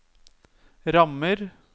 rammer